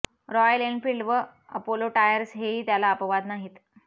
royal Enfield व Apollo tyres हेही त्याला अपवाद नाहीत